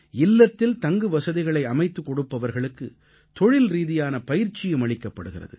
இல்லத்தில் தங்குவசதிகளை அமைத்துக் கொடுப்பவர்களுக்கு தொழில்ரீதியான பயிற்சியும் அளிக்கப்படுகிறது